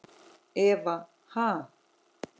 Eva: Ha?